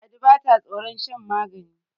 ladi ba ta tsoron shan magani